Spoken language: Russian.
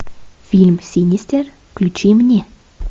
фильм синистер включи мне